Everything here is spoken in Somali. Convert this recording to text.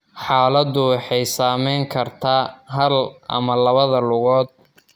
Xaaladdu waxay saameyn kartaa hal ama labada lugood.